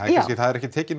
það er ekki tekin